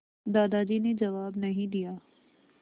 दादाजी ने जवाब नहीं दिया